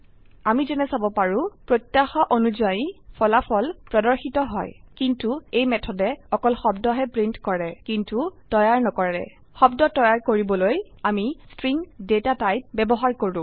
আমি যেনে চাব পাৰো প্ৰত্যাশা অনুযায়ী ফলাফল প্ৰদৰ্শিত হয় কিন্তু এই মেথডে অকল শব্দহে প্ৰিন্ট কৰে কিন্তু তৈয়াৰ নকৰে শব্দ তৈয়াৰ কৰিবলৈ আমি ষ্ট্ৰিং ডেটা টাইপ ব্যবহাৰ কৰো